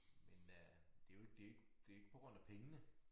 Men øh det jo ikke det jo ikke det jo ikke på grund af pengene